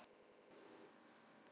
Allir skemmtu sér vel.